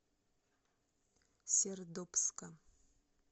сердобска